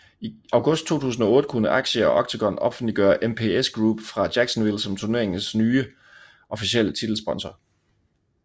I august 2008 kunne Axia og Octagon offentliggøre MPS Group fra Jacksonville som turneringens nye officielle titelsponsor